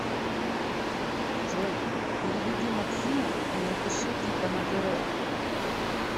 джой переведи максиму и напиши типа на др